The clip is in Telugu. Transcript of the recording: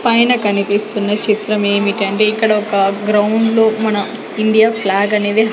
పైన కనిపిస్తున్న చిత్రం ఏమిటంటే ఇక్కడ ఒక గ్రౌండ్లో మన ఇండియా ఫ్లాగ్ అనేది--